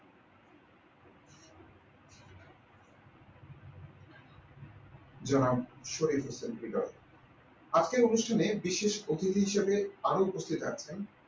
যারা শহীদ হচ্ছেন হৃদয় আজকের অনুষ্ঠানে বিশেষ অতিথি হিসেবে আরো উপস্থিত থাকবেন